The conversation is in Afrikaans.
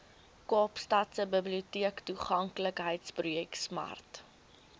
kaapstadse biblioteektoeganklikheidsprojek smart